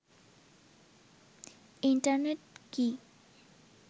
internet কি